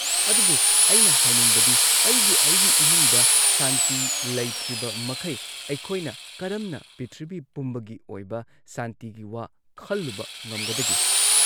ꯑꯗꯨꯕꯨ ꯑꯩꯅ ꯍꯥꯏꯅꯤꯡꯕꯗꯤ ꯑꯩꯒꯤ ꯑꯩꯒꯤ ꯏꯃꯨꯡꯗ ꯁꯥꯟꯇꯤ ꯂꯩꯇ꯭ꯔꯤꯕꯃꯈꯩ ꯑꯩꯈꯣꯏꯅ ꯀꯔꯝꯅ ꯄ꯭ꯔꯤꯊꯤꯕꯤ ꯄꯨꯝꯕꯒꯤ ꯑꯣꯏꯕ ꯁꯥꯟꯇꯤꯒꯤ ꯋꯥ ꯈꯜꯂꯨꯕ ꯉꯝꯒꯗꯒꯦ?